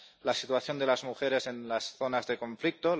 la situación de las mujeres en las zonas de conflicto